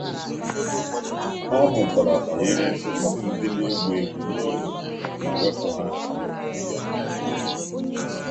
Ọ mụtara banyere osisi ndị na-egbu egbu n’ógbè ma wepụ ha n’ogige ya.